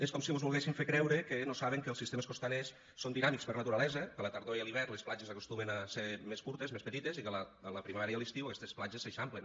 és com si mos volguessin fer creure que no saben que els sistemes costaners són dinàmics per naturalesa que a la tardor i a l’hivern les platges acostumen a ser més curtes més petites i que a la primavera i a l’estiu aquestes platges s’eixamplen